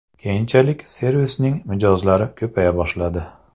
Keyinchalik servisning mijozlari ko‘paya boshladi.